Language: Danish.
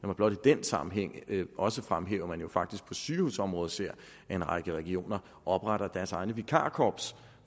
mig blot i den sammenhæng også fremhæve at man jo faktisk på sygehusområdet ser at en række regioner opretter deres egne vikarkorps